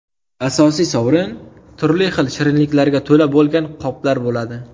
Asosiy sovrin turli xil shirinliklarga to‘la bo‘lgan qoplar bo‘ladi.